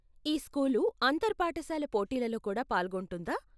ఈ స్కూలు అంతర్ పాఠశాల పోటీలలో కూడా పాల్గొంటుందా?